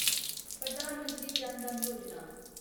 Pradhan Mantri Jan Dhan Yojana